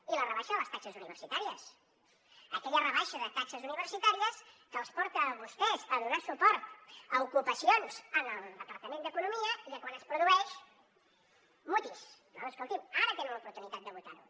i la rebaixa de les taxes universitàries aquella rebaixa de taxes universitàries que els porta a vostès a donar suport a ocupacions en el departament d’economia i que quan es produeix mutis no no escolti’m ara tenen l’oportunitat de votar ho